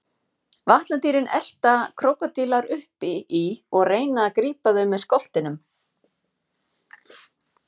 Vatnadýrin elta krókódílar uppi í og reyna að grípa þau með skoltinum.